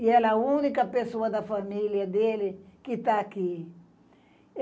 E ela é a única pessoa da família dele que está aqui.